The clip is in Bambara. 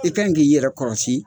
I kan k'i yɛrɛ kɔrɔsi